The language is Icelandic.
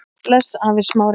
Bless afi Smári.